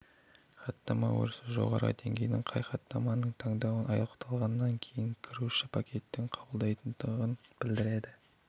хаттама өрісі жоғары деңгейдің қай хаттаманың тандауы аяқталғаннан кейін кіруші пакеттерді қабылдайтындығын білдіреді